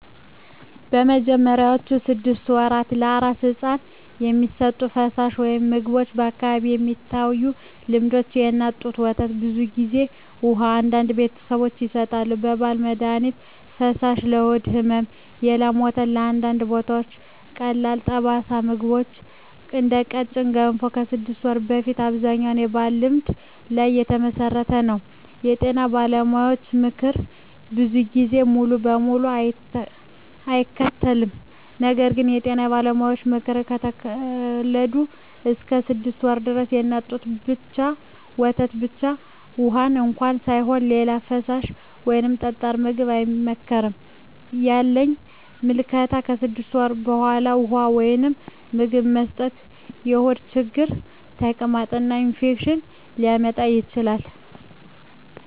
በመጀመሪያዎቹ 6 ወራት ለአራስ ሕፃን የሚሰጡ ፈሳሾች/ምግቦች በአካባቢዎች የሚታዩ ልምዶች፦ የእናት ጡት ወተት (ብዙ ጊዜ) ውሃ (አንዳንድ ቤተሰቦች ይሰጣሉ) የባህላዊ መድሀኒት ፈሳሾች (ለሆድ ሕመም) የላም ወተት (በአንዳንድ ቦታዎች) ቀላል ጠጣር ምግቦች (እንደ ቀጭን ገንፎ) ከ6 ወር በፊት አብዛኛው በባህልና በልምድ ላይ የተመሠረተ ነው የጤና ባለሙያዎች ምክር ብዙ ጊዜ ሙሉ በሙሉ አይከተልም ነገር ግን የጤና ባለሙያዎች ምክር፦ ከተወለዱ እስከ 6 ወር ድረስ የእናት ጡት ወተት ብቻ (ውሃም እንኳ ሳይሆን) ሌላ ፈሳሽ ወይም ጠጣር ምግብ አይመከርም ያለኝ ምልከታ ከ6 ወር በፊት ውሃ ወይም ሌላ ምግብ መስጠት የሆድ ችግር፣ ተቅማጥ እና ኢንፌክሽን ሊያመጣ ይችላል